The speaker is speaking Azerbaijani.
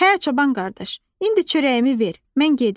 Hə, çoban qardaş, indi çörəyimi ver, mən gedim.